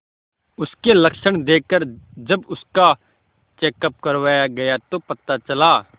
उसके लक्षण देखकरजब उसका चेकअप करवाया गया तो पता चला